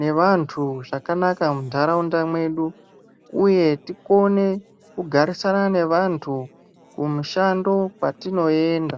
nevantu zvakanaka mundarawunda mwedu, uye tikone kugarisana nevantu kumushando kwatinoyenda.